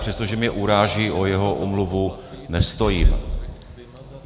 Přestože mě uráží, o jeho omluvu nestojím.